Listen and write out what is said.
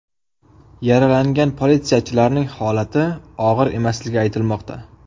Yaralangan politsiyachilarning holati og‘ir emasligi aytilmoqda.